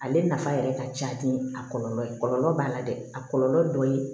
Ale nafa yɛrɛ ka ca ni a kɔlɔlɔ ye kɔlɔlɔ b'a la dɛ a kɔlɔlɔ dɔ ye